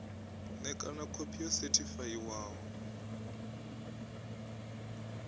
ṋekana nga khophi yo sethifaiwaho